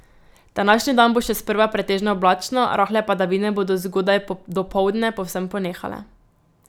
Današnji dan bo še sprva pretežno oblačno, rahle padavine bodo zgodaj dopoldne povsod ponehale.